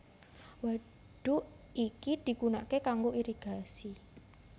Wadhuk iki digunakake kanggo irigasi